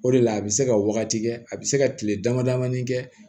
O de la a bɛ se ka wagati kɛ a bɛ se ka kile dama dama ni kɛ